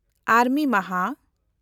ᱟᱨᱢᱤ ᱢᱟᱦᱟ